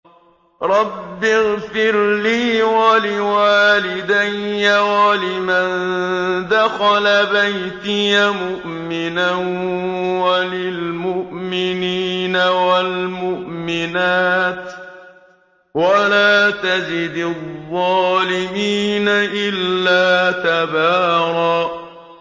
رَّبِّ اغْفِرْ لِي وَلِوَالِدَيَّ وَلِمَن دَخَلَ بَيْتِيَ مُؤْمِنًا وَلِلْمُؤْمِنِينَ وَالْمُؤْمِنَاتِ وَلَا تَزِدِ الظَّالِمِينَ إِلَّا تَبَارًا